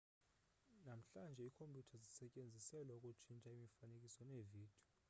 namhlanje iikhompyutha zisetyenziselwa ukutshintsha imifanekiso neevidiyo